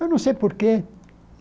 Eu não sei por quê.